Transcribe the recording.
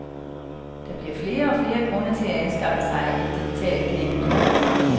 Der bliver flere og flere grunde til at anskaffe sig et digitalt kæledyr.